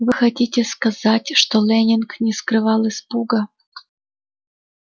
вы хотите сказать что лэннинг не скрывал испуга